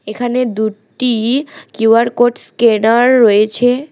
এখানে দুটি Q R code scanner রয়েছে।